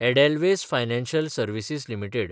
Edelweiss financial services limited